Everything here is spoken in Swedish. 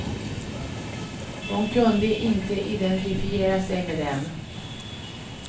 Hon kunde inte identifiera sig med dem.